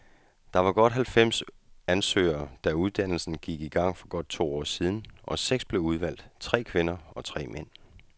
Der var halvfems ansøgere, da uddannelsen gik i gang for godt to år siden, og seks blev udvalgt, tre kvinder og tre mænd.